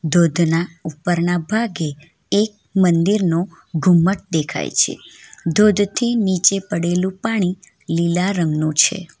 ધોધના ઉપરના ભાગે એક મંદિરનો ઘુમ્મટ દેખાય છે ધોધ થી નીચે પડેલું પાણી લીલા રંગનું છે.